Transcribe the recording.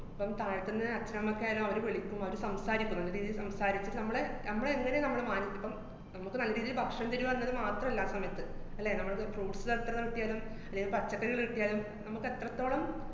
അപ്പം താഴെത്തന്നെ അച്ഛനമ്മക്കായാലും അവര് വിളിക്കും, അവര് സംസാരിക്കും, നല്ല രീതീല് സംസാരിക്കും. നമ്മളെ നമ്മളെങ്ങനെ നമ്മള് മാനസികം നമ്മക്ക് നല്ല രീതീല് ഭക്ഷണം തരുവാന്നത് മാത്രല്ല ആ സമയത്ത്, അല്ലേ, നമ്മള് fruits ലെത്ര കിട്ടിയാലും അല്ലേല് പച്ചക്കറി കിട്ടിയാലും നമുക്കെത്രത്തോളം